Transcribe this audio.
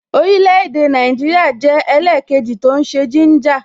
Orile-ede Naijiria jẹ́ ẹlẹkeji tó ń ṣe gínjà